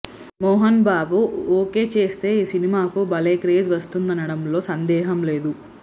Mohan Babu okay చేస్తే ఈ సినిమాకు భలే క్రేజ్ వస్తుందనడంలో సందేహం లేదు